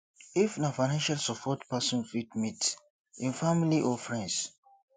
if na financial support person fit meet im family or friends